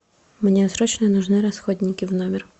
мне срочно нужны расходники в номер